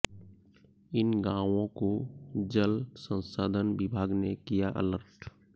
इन गाँवों को जल संसाधन विभाग ने किया अलर्ट